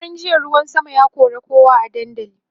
shekaran jiya ruwan sama ya kora kowa a dandali